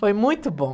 Foi muito bom.